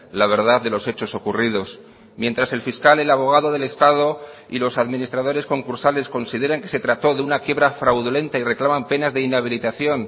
la verdad de los hechos ocurridos mientras el fiscal el abogado del estado y los administradores concursales consideran que se trató de una quiebra fraudulenta y reclaman penas de inhabilitación